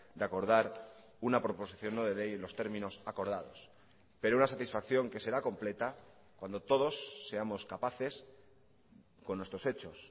de acordar una proposición no de ley en los términos acordados pero una satisfacción que será completa cuando todos seamos capaces con nuestros hechos